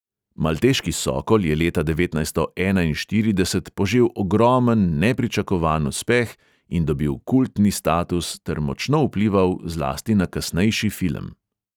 Malteški sokol je leta devetnajststo enainštirideset požel ogromen, nepričakovan uspeh in dobil kultni status ter močno vplival zlasti na kasnejši film.